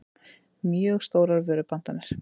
mjög stórar vörupantanir.